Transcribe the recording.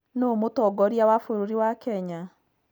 Nũũ mũtongoria wa bũrũri wa kenya?